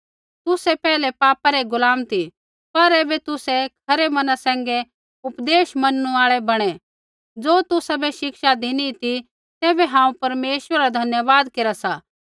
तुसै पैहलै पापा रै गुलाम ती पर ऐबै तुसै खरै मना सैंघै उपदेश मैनणु आल़ै बणै ज़ो तुसाबै शिक्षा धिनी ती तैबै हांऊँ परमेश्वरा रा धन्यवाद केरा सा